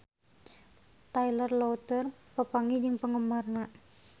Taylor Lautner papanggih jeung penggemarna